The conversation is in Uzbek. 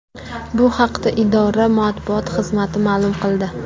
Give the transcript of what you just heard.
Bu haqda idora matbuot xizmati ma’lum qildi .